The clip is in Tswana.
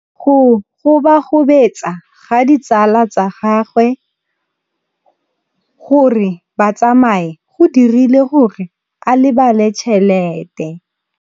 Go gobagobetsa ga ditsala tsa gagwe, gore ba tsamaye go dirile gore a lebale tšhelete.